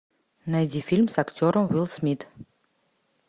найди фильм с актером уилл смит